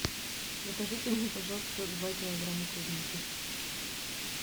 закажите мне пожалуйста два килограмма клубники